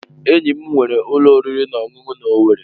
Enyi m nwere ulo oriri na ọṅụṅụ na Owerri.